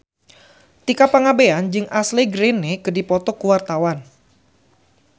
Tika Pangabean jeung Ashley Greene keur dipoto ku wartawan